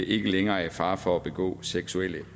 ikke længere er i fare for at begå seksuelle